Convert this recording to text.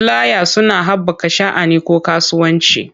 Fulaya suna haɓaka sha'ani ko kasuwanci.